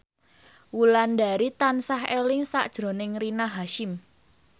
Wulandari tansah eling sakjroning Rina Hasyim